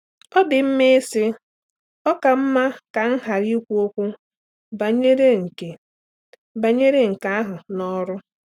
Ọ dị mma ịsị, “Ọ ka mma ka m ghara ịkwu okwu banyere nke banyere nke ahụ n’ọrụ.”